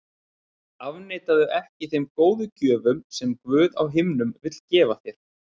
Afneitaðu ekki þeim góðu gjöfum sem Guð á himnum vill gefa þér.